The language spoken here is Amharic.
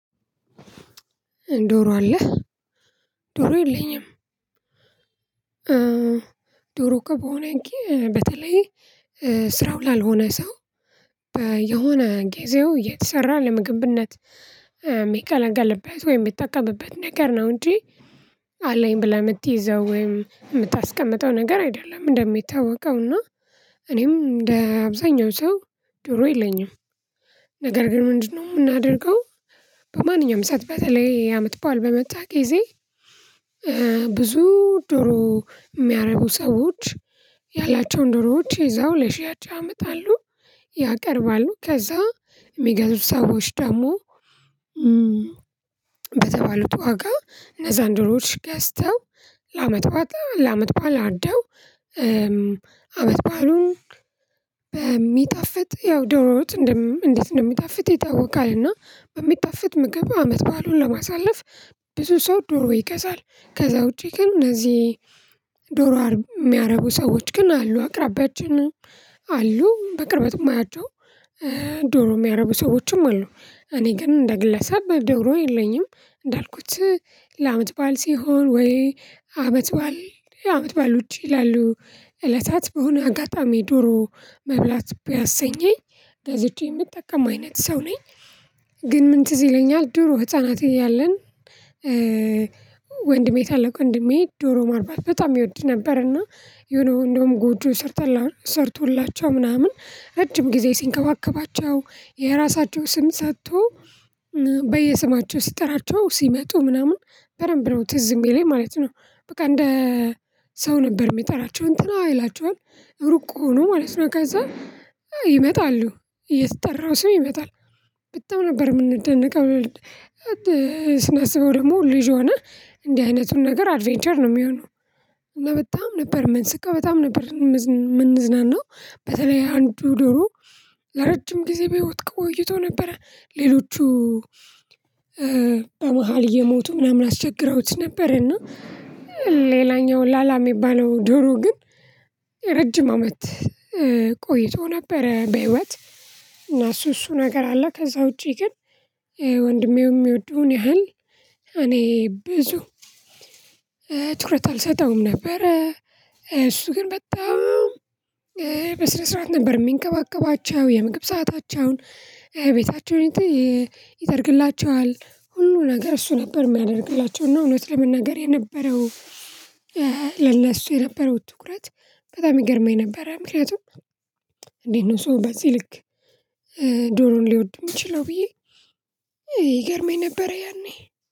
ዶሮ አለህ ዶሮ የለኝም። ዶሮ እኮ በሆነ ጊዜ በተለይ ስራው ላልሆነ ሰው በየሆነ ጊዜው የተሰራ ለምግብነት የሚገለገልበት ወይ የሚጠቀምበት ነገር ነው። እንጂ አለኝ ብለህ የምትይዘው ወይም የምታስቀምጠው ነገር አይደለም። እንደሚታወቀው እና እኔም እንደ አብዛኛው ሰው ዶሮ የለኝም። ነገር ግን ምንድነው የምናደርገው? በማንኛውም ሰዓት በተለይ አመትበዓል በመጣ ጊዜ ብዙ ዶሮ የሚያረቡ ሰዎች ያላቸውን ዶሮዎች ይዘው ለሽያጭ ያመጣሉ። ያቀርባሉ ከዛ የሚገዙት ሰዎች ደግሞ በተባሉት ዋጋ እነዛን ዶሮወች ገዝተው ለአመት በዓል ለአመት ባል አርደው። አመት ባሉን በሚጣፍጥ ያው ዶሮ ወጥ እንዴት እንደሚጣፍጥ ይታወቃል እና በሚጣፍጥ ምግብ አመት በዓሉን ለማሳለፍ ብዙ ሰው ዶሮ ይገዛል። ከዛ ውጪ ግን እነዚህ ዶሮ የሚያረቡ ሰዎች ግን አሉ አቅራቢያችንም አሉ በቅርበት የማያቸው ዶሮ የሚያረቡ ሰዎችም አሉ። እኔ ግን እንደ ግለሰብ ዶሮ የለኝም። እንዳልኩት ለአመት ባል ሲሆን ወይ አመት ባል አመት ባል ውጪ ላሉ እለታት በሆነ አጋጣሚ ዶሮ መብላት ቢያሰኘኝ ገዝቼ የምጠቀም አይነት ሰው ነኝ። ግን ምን ትዝ ይለኛል ድሮ ህፃናት እያለን ወንድሜ ታለቅ ወንድሜ ዶሮ ማርባት በጣም ይወድ ነበርና። የሆነ እንደውም ጎጆ ሰርቶላቸው ምናምን እረጅም ጊዜ ሲንከባከባቸው የራሳቸው ስም ሰጥቶ በየስማቸው ሲጠራቸው ሲመጡ ምናምን በደንብ ነው ትዝ የሚለኝ ማለት ነው። በቃ እንደ ሰው ነበር የሚጠራቸው እንትና ይላቸዋል ሩቅ ሆኖ ማለት ነው። ከዛ ይመጣሉ የተጠራው ሰው ይመጣል በጣም ነበር የምንደነቀው ስናስበው ደግሞ ልጅ ሆነህ እንዲህ አይነቱን ነገር አድቬንቸር ነው። የሚሆነው እና በጣም ነበር የምንስቀው በጣም ነበር የምንዝናናው። በተለይ አንዱ ዶሮ ለረጅም ጊዜ በህይወት ቆይቶ ነበረ ሌሎቹ በመሃል እየሞቱ ምናምን አስቸግረውት ነበር። እና ሌላኛው ላላ የሚባለው ዶሮ ግን ረጅም አመት ቆይቶ ነበረ። በህይወት እና እሱ እሱ ነገር አለ ከዛ ውጪ ግን ወንድሜው የሚወደውን ያህል እኔ ብዙ ትኩረት አልሰጠውም ነበር። እሱ ግን በጣም በስነ ስርዓት ነበር የሚንከባከባቸው የምግብ ሰአታቸውን ቤታቸውን ይጠርግላቸዋል ሁሉ ነገር እሱ ነበር የሚያደርግላቸው። እውነት ለመናገር የነበረው ለእሱ የነበረው ትኩረት በጣም ይገርመኝ ነበር። ምክንያቱም እንዴት ነው? ሰው በዚህ ልክ ዶሮን ሊወድም የሚችለው ብዬ ይገርመኝ ነበር። ያኔ